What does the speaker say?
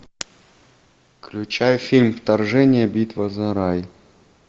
включай фильм вторжение битва за рай